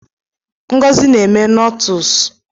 Ngozi na-eme nọtles